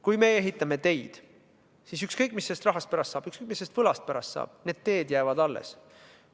Kui me ehitame teid, siis ükskõik, mis sellest rahast pärast saab, ükskõik, mis sellest võlast pärast saab, teed jäävad alles.